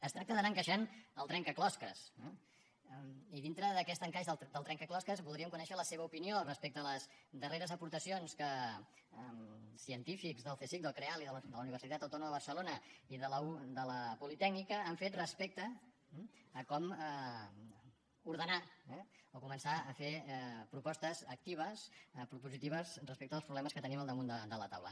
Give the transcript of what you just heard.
es tracta d’anar encaixant el trencaclosques i dintre d’aquest encaix del trencaclosques voldríem conèixer la seva opinió respecte a les darreres aportacions que científics del csic del creal i de la universitat autònoma de barcelona i de la politècnica han fet respecte a com ordenar o començar a fer propostes actives propositives respecte dels problemes que tenim al damunt de la taula